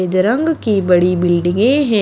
रंग की बड़ी बिल्डिंगे हैं।